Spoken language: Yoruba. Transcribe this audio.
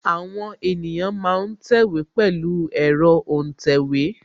Àwọn ènìyàn ma ń tẹ̀wé pẹ̀lu ẹ̀rọ́ òǹtẹ̀wé